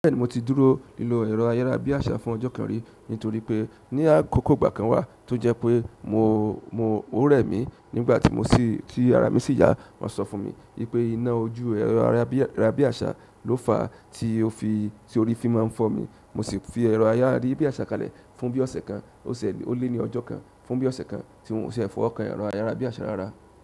Bẹ́ẹ̀ni mo ti dúró lílo ẹ̀rọ ayárabíàṣá fún ọjọ́ kan rí, nítorí pé ní àkókò ìgbà kan wà tó jẹ́ ó rẹ̀ mí nígbà tí mo sì, tí ara mi sì yá, wọ́n sọ fún mi wípé iná ojú ẹ̀rọ ayárabíàṣá ló fa tí ó rí fi máa ń fọ́ mi. Mo sì fi ẹ̀rọ ayárabíàṣá kalẹ̀ fún bí ọ̀sẹ̀ kan, ó ṣi ẹni, ó lé ní ọjọ́ kan, fún bí ọ̀sẹ̀ kan tí mo ṣẹ̀ fọ ọkàn ẹ̀rọ ayárabíàṣá rárá.